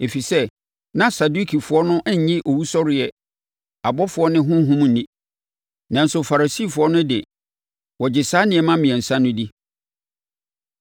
ɛfiri sɛ, na Sadukifoɔ no nnye owusɔreɛ, abɔfoɔ ne honhom nni. Nanso, Farisifoɔ no de, wɔgye saa nneɛma mmiɛnsa no di.